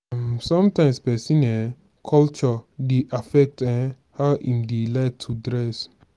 um sometimes person um culture dey affect um how im dey like to dress